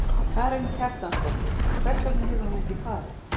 Karen Kjartansdóttir: Og hvers vegna hefur hún ekki farið?